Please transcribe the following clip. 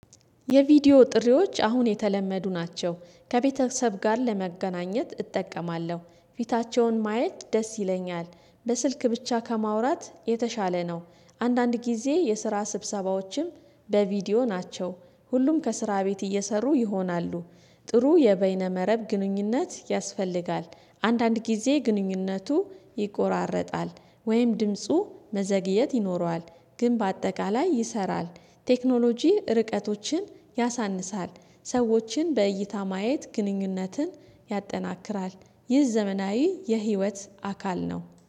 የቪዲዮ ጥሪዎች አሁን የተለመዱ ናቸው ከቤተሰብ ጋር ለመገናኘት እጠቀማለሁ ፊታቸውን ማየት ደስ ይለኛል በስልክ ብቻ ከማውራት የተሻለ ነው። አንዳንድ ጊዜ የስራ ስብሰባዎችም በቪዲዮ ናቸው። ሁሉም ከስራ ቤት እየሰሩ ይሆናሉ። ጥሩ የበይነ መረብ ግንኙነት ያስፈልጋል። አንዳንድ ጊዜ ግንኙነቱ ይቆራረጣል። ወይም ድምፁ መዘግየት ይኖረዋል። ግን በአጠቃላይ ይሰራል። ቴክኖሎጂ ርቀቶችን ያሳንሳል ሰዎችን በእይታ ማየት ግንኙነትን ያጠናክራል። ይህ ዘመናዊ የህይወት አካል ነው